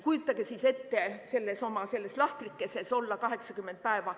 Kujutage ette, selles oma lahtrikeses olla 80 päeva.